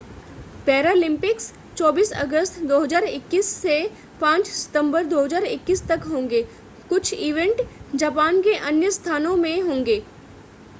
Paralympics 24 अगस्त 2021 से 5 सितंबर 2021 तक होंगे कुछ इवेंट जापान के अन्य स्थानों में होंगे